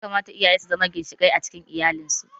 Ya kamata iyaye su zama ginshiƙai a cikin iyali